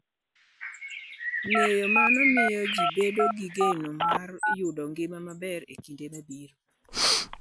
Ng'eyo mano miyo ji bedo gi geno mar yudo ngima maber e kinde mabiro.